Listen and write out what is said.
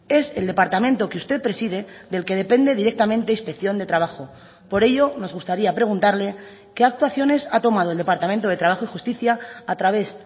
es el departamento que usted preside del que depende directamente inspección de trabajo por ello nos gustaría preguntarle qué actuaciones ha tomado el departamento de trabajo y justicia a través